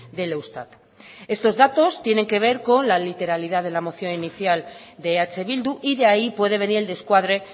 del eustat estos datos tienen que ver con la literalidad de la moción inicial de eh bildu y de ahí puede venir el descuadre